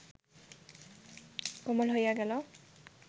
কোমল হইয়া গেল